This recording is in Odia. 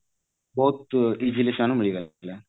ବହୁତ easily ସେମାନଙ୍କୁ ମିଳିଗଲା